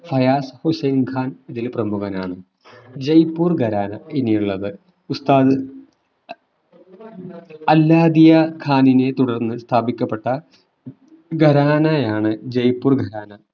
ഹയാസ് ഹുസ്സൈൻ ഖാൻ ഇതിൽ പ്രമുഖനാണ് ജയ്‌പൂർ ഖരാന ഇനിയുള്ളത് ഉസ്താദ് അൽ നാദിയ ഖാനിനെ തുടർന്ന് സ്ഥാപിക്കപ്പെട്ട ഖരാനയാണ് ജയ്‌പൂർ ഖരാന